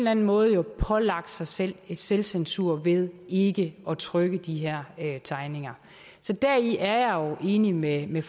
anden måde har pålagt sig selv en selvcensur ved ikke at trykke de her tegninger så deri er jeg jo enig med med